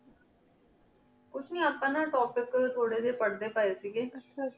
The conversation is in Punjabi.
ਕੁਛ ਨੀ ਆਪਾਂ topic ਥੋਰੀ ਜੇ ਪੇਰ੍ਡੀ ਪੀ ਸੇ ਆਹ ਆਹ